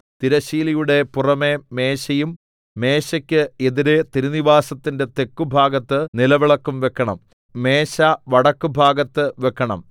തിരശ്ശീലയുടെ പുറമെ മേശയും മേശയ്ക്ക് എതിരെ തിരുനിവാസത്തിന്റെ തെക്കുഭാഗത്ത് നിലവിളക്കും വെക്കണം മേശ വടക്കുഭാഗത്ത് വെക്കണം